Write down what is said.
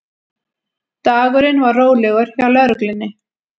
Dagurinn var rólegur hjá lögreglunni